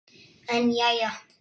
En jæja.